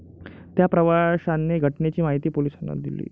त्या प्रवाशाने घटनेची माहिती पोलिसांना दिली.